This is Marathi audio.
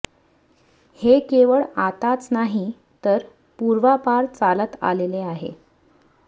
हे केवळ आताच नाही तर पूर्वापार चालत आलेले आहे